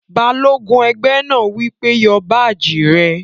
Balógun ẹgbẹ́ náà wí pé, "Yọ báàjì rẹ̀!"